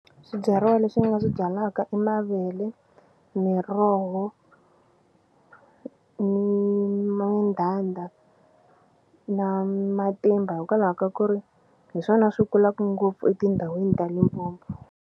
Swibyariwa leswi ni nga swi byalaka i mavele miroho ni mandhandha na matimba hikwalaho ka ku ri hi swona swi kulaku ngopfu etindhawini ta Limpopo.